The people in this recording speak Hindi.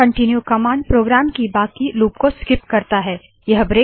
कनटीन्यू कमांड प्रोग्राम की बाकि लूप को स्किप करता है याने के छोड़ देता है